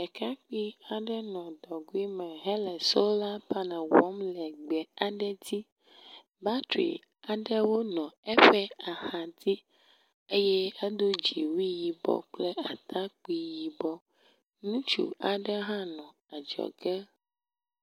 Ɖekakpui aɖe nɔ dɔgɔe me henɔ sola paneli wɔm le gbe aɖe dzi le. Batri aɖewo nɔ eƒe axadzi eye edo dziwui yibɔ kple atakpui yibɔ. Ŋutsu aɖe hã nɔ adzɔge.